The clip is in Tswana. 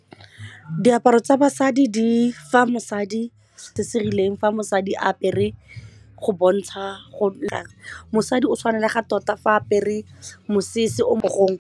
Diaparo tsa basadi di fa mosadi se se rileng fa mosadi apere go bontsha go nna mosadi o tshwanela ga tota fa apere mosese o .